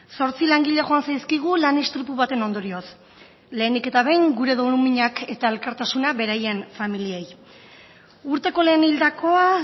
zortzi langile joan zaizkigu lan istripu baten ondorioz lehenik eta behin gure doluminak eta elkartasuna beraien familiei urteko lehen hildakoa